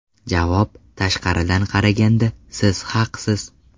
Javob: Tashqaridan qaraganda, siz haqsiz.